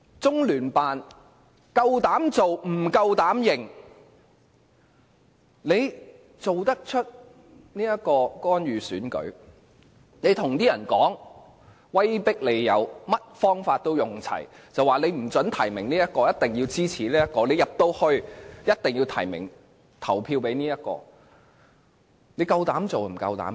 中聯辦膽敢做不膽敢認，作出干預選舉的行動，向選委威迫利誘，用盡所有方法，不准提名這位，一定要支持那位，一定要提名及投票給那位，他們膽敢做不膽敢認。